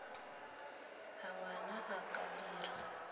a ngwana a ka dira